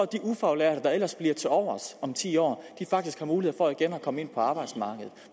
de ufaglærte der ellers bliver tilovers om ti år faktisk har mulighed for igen at komme ind på arbejdsmarkedet